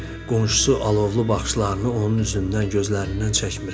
Gördü ki, qonşusu alovlu baxışlarını onun üzündən, gözlərindən çəkmir.